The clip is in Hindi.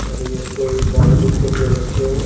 और ये कोई प्राइवेट स्कूल के बच्चे हैं।